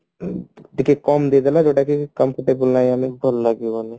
ଗୋଟେ କମ ଦେଇଦେଲା ଯୋଉଟା କି comfortable ଲାଗିଲାଣି ଭଲ ଲାଗିବନି